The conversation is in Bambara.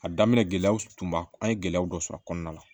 A daminɛ gɛlɛyaw tunba an ye gɛlɛyaw dɔ sɔrɔ a kɔnɔna na